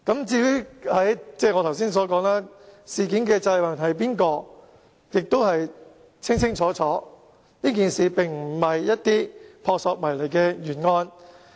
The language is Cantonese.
正如我剛才所說，應要為事件負責的人是誰亦已經很清楚，這事件並非撲朔迷離的懸案。